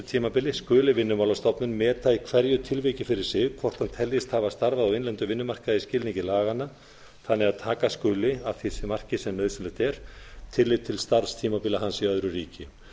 ávinnslutímabili skuli vinnumálastofnun meta í hverju tilviki fyrir sig hvort hann teljist hafa starfað á innlendum vinnumarkaði samkvæmt skilningi laganna þannig að taka skuli að því marki sem nauðsynlegt er tillit til starfstímabila hans í öðru ríki